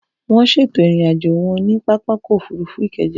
Wọ́n ṣètò ìrìn-àjò wọn ní pápákọ̀ òfurufú Ikeja.